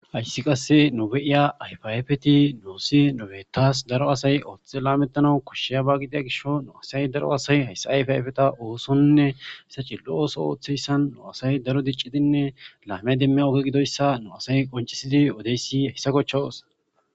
Ayssi qasse nube'iya ayfayyfeti nuosi nobeetas daro asay ooththe laamettanau koshsheya ba gidia gisho nu asay daro asay hayssa ayfayfeta oosonne hessa chi lo'ooso ooththeyssan nu asay daro diccidinne laame demmi oge gidoyssa nu asay qoncisidi wodeyssi hayssa kochcha oosa.